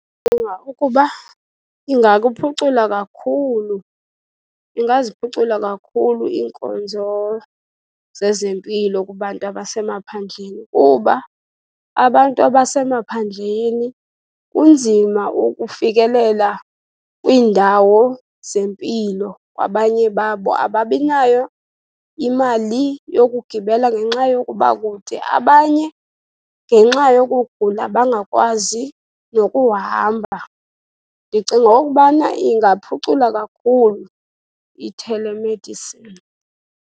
Ndicinga ukuba ingakuphucula kakhulu, ingaziphucula kakhulu iinkonzo zezempilo kubantu abasemaphandleni kuba abantu abasemaphandleni kunzima ukufikelela kwiindawo zempilo. Abanye babo ababi nayo imali yokugibela ngenxa yokuba kude, abanye ngenxa yokugula, bangakwazi nokuhamba. Ndicinga okubana ingaphucula kakhulu i-telemedicine.